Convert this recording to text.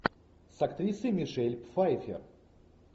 с актрисой мишель пфайфер